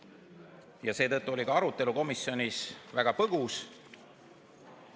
Ja seetõttu oli ka arutelu komisjonis väga põgus.